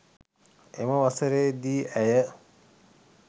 එම වසරේ දී ඇය